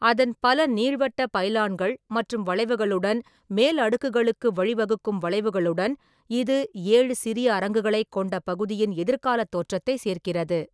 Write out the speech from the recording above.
அதன் பல நீள்வட்ட பைலான்கள் மற்றும் வளைவுகளுடன் மேல் அடுக்குகளுக்கு வழிவகுக்கும் வளைவுகளுடன், இது ஏழு சிறிய அரங்குகளைக் கொண்ட பகுதியின் எதிர்கால தோற்றத்தை சேர்க்கிறது.